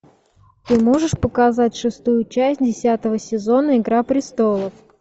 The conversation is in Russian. ты можешь показать шестую часть десятого сезона игра престолов